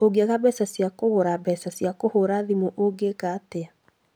ũngĩaga mbeca cia kũgũra mbeca cia kũhũra thimũ ũngĩka atia